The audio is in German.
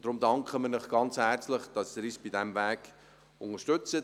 Deshalb danken wir Ihnen ganz herzlich, dass Sie uns auf diesem Weg unterstützen.